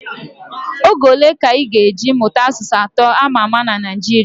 Oge ole ka ị ga eji mụta asụsụ atọ ama ama na Naijiria